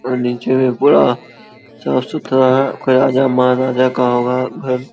और नीचे मे काफी साफ सुथरा है राजा महाराजा का होगा घर |